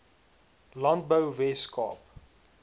landbou wes kaap